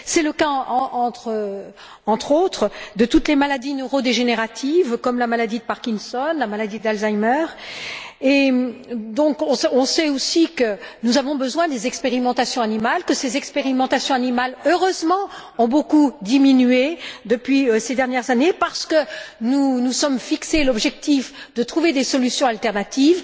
C'est le cas, entre autres, de toutes les maladies neurodégénératives, comme la maladie de Parkinson et la maladie d'Alzheimer. On sait aussi que nous avons besoin des expérimentations animales, que ces expérimentations animales, heureusement, ont beaucoup diminué ces dernières années parce que nous nous sommes fixé l'objectif de trouver des solutions alternatives.